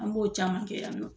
An b'o caman kɛ yan nɔ